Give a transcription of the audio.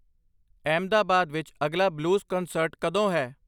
ਅਹਿਮਦਾਬਾਦ ਵਿੱਚ ਅਗਲਾ blues concert ਕਦੋਂ ਹੈ